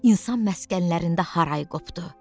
İnsan məskənlərində haray qopdu.